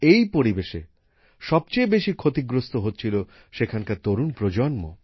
এই পরিবেশে সবচেয়ে বেশি ক্ষতিগ্রস্ত হচ্ছিল সেখানকার তরুণ প্রজন্ম